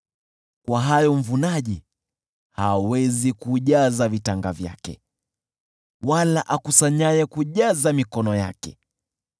kwa hayo mvunaji hawezi kujaza vitanga vyake, wala akusanyaye kujaza mikono yake.